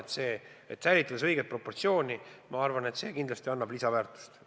Kui seejuures säilitada õiged proportsioonid, siis see kindlasti annab lisaväärtust.